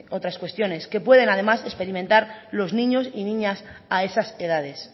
otras cuestiones que pueden además experimentar los niños y niñas a esas edades